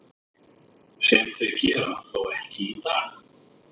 Sem þau gera þó ekki í dag.